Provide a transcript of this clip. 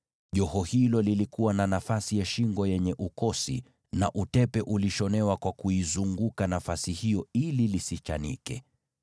na lilikuwa na nafasi ya shingo katikati ya joho lile iliyofanana na ukosi, na utepe ulioshonwa kuizunguka nafasi hiyo ili isichanike.